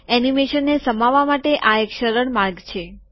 એનીમેશનને સમાવવા માટે આ એક સરળ માર્ગ છે